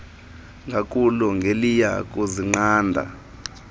ngakulo ngeliya kuzinqanda